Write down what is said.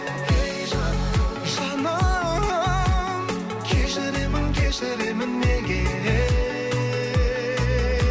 ей жаным жаным кешіремін кешіремін неге